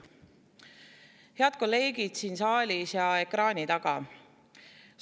Head kolleegid siin saalis ja ekraani taga!